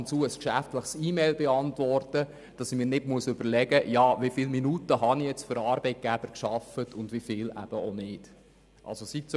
Ich bin sehr froh darüber, dass ich mir nicht überlegen muss, wie viele Minuten ich nun für den Arbeitgeber gearbeitet habe, wenn ich im Ratssaal ab und zu eine geschäftliche Mail beantworte.